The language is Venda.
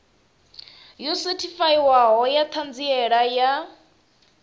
yo sethifaiwaho ya ṱhanziela ya